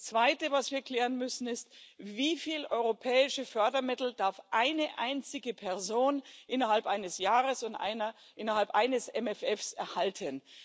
Und das Zweite, was wir klären müssen, ist Wie viele europäische Fördermittel darf eine einzige Person innerhalb eines Jahres und innerhalb eines MFR erhalten?